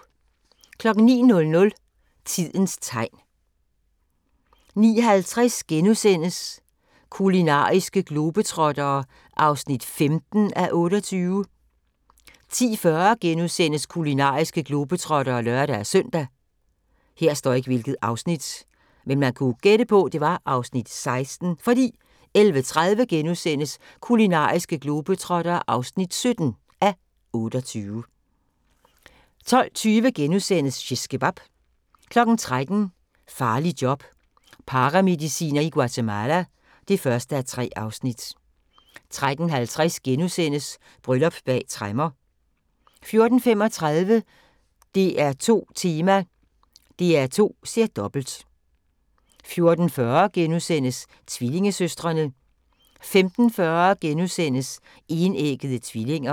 09:00: Tidens tegn 09:50: Kulinariske globetrottere (15:28)* 10:40: Kulinariske globetrottere *(lør-søn) 11:30: Kulinariske globetrottere (17:28)* 12:20: Shishkebab * 13:00: Farligt job – paramediciner i Guatemala (1:3) 13:50: Bryllup bag tremmer * 14:35: DR2 Tema: DR2 ser dobbelt 14:40: Tvillingesøstrene * 15:40: Enæggede tvillinger *